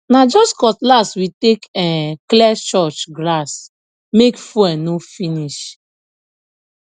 na just cutlass we take um clear church grassmake fuel no finish